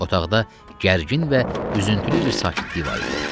Otaqda gərgin və üzüntülü bir sakitlik var idi.